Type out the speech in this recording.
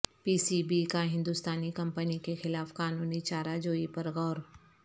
پی سی بی کا ہندوستانی کمپنی کیخلاف قانونی چارہ جوئی پرغور